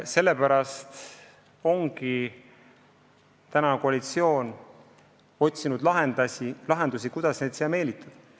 Sellepärast ongi koalitsioon otsinud lahendusi, kuidas suurinvestoreid siia meelitada.